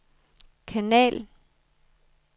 kanal